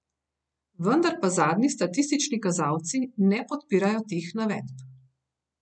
Vendar pa zadnji statistični kazalci ne podpirajo teh navedb.